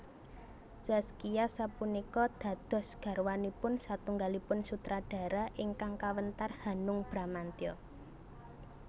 Zaskia sapunika dados garwanipun satunggalipun sutradara ingkang kawentar Hanung Bramantyo